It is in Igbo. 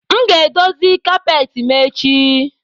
M ga-edozi kapeti m echi